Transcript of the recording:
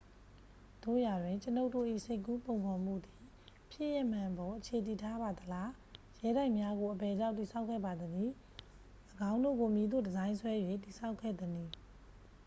သို့ရာတွင် ကျွန်ုပ်တို့၏ စိတ်ကူးပုံဖော်မှုသည် ဖြစ်ရပ်မှန်အပေါ် အခြေတည်ထားပါသလား ရဲတိုက်များကို အဘယ်ကြောင့် တည်ဆောက်ခဲ့ပါသနည်း ၎င်းတို့ကို မည်သို့ ဒီဇိုင်းဆွဲ၍ တည်ဆောက်ခဲ့သနည်း